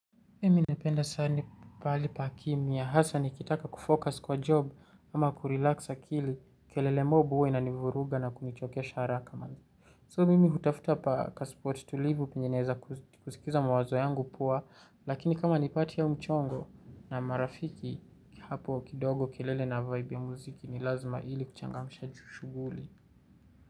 Mimi napenda sani pahali pa kimya hasa nikitaka kufocus kwa job ama kurilaxs akili kelele mob huwa ina nivuruga na kunichokesha haraka man. So mimi hutafuta pa kaspot tulivu penye naeza kusikiza mawazo yangu poa lakini kama nipati au mchongo na marafiki hapo kidogo kelele na vibe ya muziki ni lazima ili kuchangamsha ju shuguli.